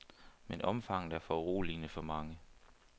Men omfanget er foruroligende for mange.